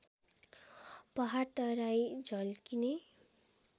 पहाड तराई झल्किने